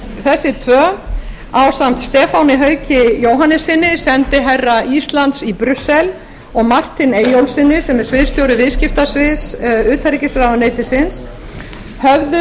þessi tvö ásamt stefáni hauki jóhannessyni sendiherra íslands í brussel og martin eyjólfssyni sem er sviðsstjóri viðskiptasviðs utanríkisráðuneytisins höfðu